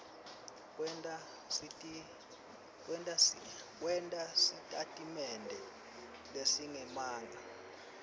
kwenta sitatimende lesingemanga